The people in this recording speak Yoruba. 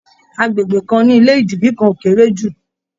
Agbègbè kan ní ilé idiri kan o kere ju.